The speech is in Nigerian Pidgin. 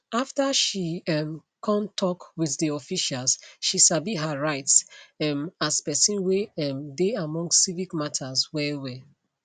after she um kon tok with di officials she sabi her rights um as pesin wey um dey among civic matters well well